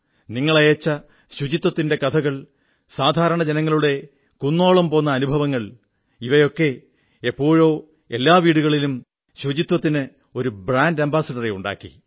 നിങ്ങളയച്ച സ്വച്ഛതയുടെ കഥകൾ സാധാരണ ജനങ്ങളുടെ കുന്നോളം പോന്ന അനുഭവങ്ങൾ ഒക്കെ എപ്പോഴോ എല്ലാ വീടുകളിലും സ്വച്ഛതയ്ക്ക് ഒരു ബ്രാൻഡ് അംബാസഡറെ ഉണ്ടാക്കി